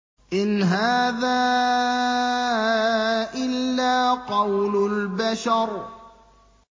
إِنْ هَٰذَا إِلَّا قَوْلُ الْبَشَرِ